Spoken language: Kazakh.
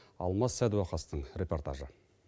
алмас сәдуақастың репортажы